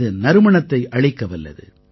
இது நறுமணத்தை அளிக்கவல்லது